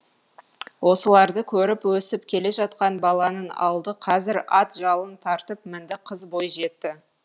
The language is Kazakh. осыларды көріп өсіп келе жатқан баланың алды қазір ат жалын тартып мінді қыз бойжетті